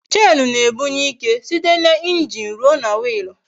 Chenu na-ebunye ike site n'injin ruo na Wiilu